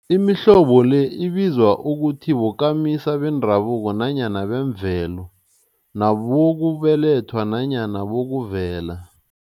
Imihlobo le ibizwa ukuthi bokamisa bendabuko nanyana bemvelo, nabokubelethwa nanyana bokuvela.